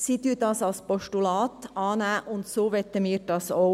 Sie nimmt dies als Postulat an, und so wollen wir dies auch.